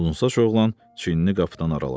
Uzunsaç oğlan çiynini qapıdan araladı.